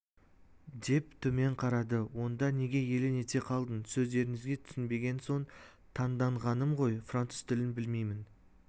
деп төмен қарады онда неге елең ете қалдың сөздеріңізге түсінбеген соң таңданғаным ғой француз тілін білмеймін